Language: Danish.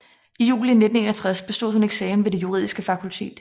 I juli 1961 bestod hun eksamen ved det juridiske fakultet